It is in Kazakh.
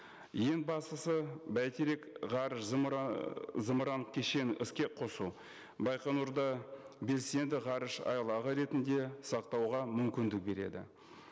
ең бастысы бәйтерек ғарыш зымыран кешенін іске қосу байқоңырды белсенді ғарыш айлағы ретінде сақтауға мүмкіндік береді